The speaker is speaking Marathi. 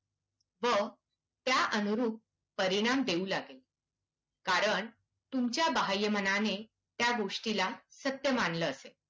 व त्यानुरूप परिणाम देऊ लागेल. कारण तुमच्या बाह्यमनाने त्या गोष्टीला सत्य मानले असेल.